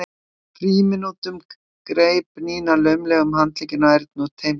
frímínútum greip Nína laumulega um handlegginn á Erni og teymdi hann út í horn.